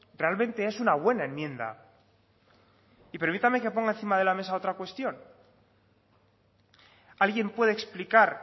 realmente es una buena enmienda y permítame que ponga encima de la mesa otra cuestión alguien puede explicar